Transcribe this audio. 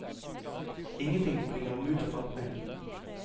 Ingenting bringer ham ut av fatning.